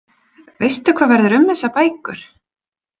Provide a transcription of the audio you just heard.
Veistu hvað verður um þessar bækur?